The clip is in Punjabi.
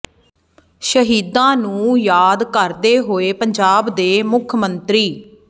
ਸ਼ਹੀਦਾਂ ਨੂੰ ਯਾਦ ਕਰਦੇ ਹੋਏ ਪੰਜਾਬ ਦੇ ਮੁੱਖ ਮੰਤਰੀ